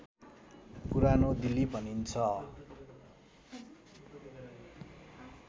पुरानो दिल्ली भनिन्छ